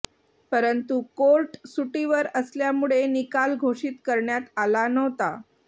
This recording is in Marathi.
परंतू कोर्ट सुटीवर असल्यामुळे निकाल घोषित करण्यात आला नव्हता